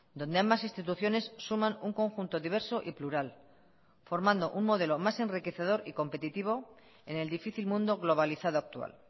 donde ambas instituciones suman un conjunto diverso y plural formando un modelo más enriquecedor y competitivo en el difícil mundo globalizado actual